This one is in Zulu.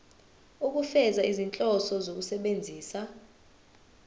ukufeza izinhloso zokusebenzisa